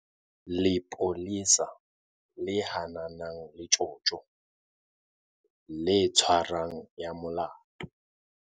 Lepolesa le hananang le tjotjo, le tshwarang ya molato.